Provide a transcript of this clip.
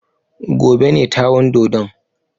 Gobe ne ta wan dodon.